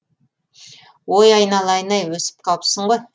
ой айналайын ай өсіп қалыпсың ғой